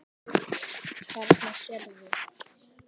Þarna sérðu.